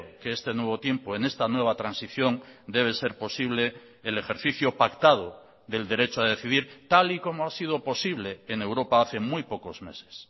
que este nuevo tiempo en esta nueva transición debe ser posible el ejercicio pactado del derecho a decidir tal y como ha sido posible en europa hace muy pocos meses